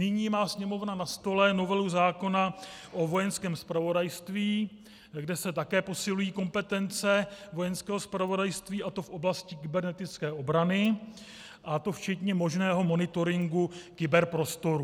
Nyní má Sněmovna na stole novelu zákona o Vojenském zpravodajství, kde se také posilují kompetence Vojenského zpravodajství, a to v oblasti kybernetické obrany, a to včetně možného monitoringu kyberprostoru.